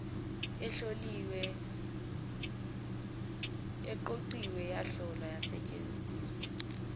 eqoqiwe yahlolwa yasetshenziswa